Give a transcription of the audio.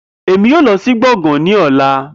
Emi yoo lọ si gboôgan ni ọla